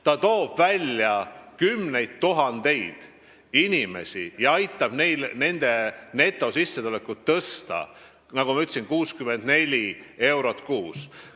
See toob vaesusest välja kümneid tuhandeid inimesi ja aitab nende netosissetulekut tõsta, nagu ma ütlesin, 64 euro võrra kuus.